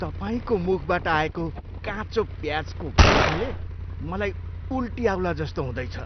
तपाईँको मुखबाट आएको काँचो प्याजको गन्धले मलाई उल्टी आउलाजस्तो हुँदैछ।